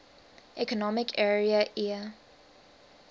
economic area eea